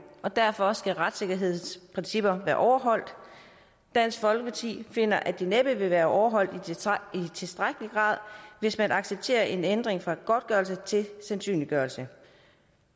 og derfor skal retssikkerhedsprincipperne være overholdt og dansk folkeparti finder at de næppe vil være overholdt i tilstrækkelig grad hvis man accepterer en ændring fra godtgørelse til sandsynliggørelse